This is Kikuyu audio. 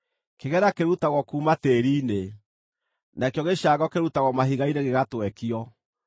Kĩgera kĩrutagwo kuuma tĩĩri-inĩ, nakĩo gĩcango kĩrutagwo mahiga-inĩ gĩgatwekio.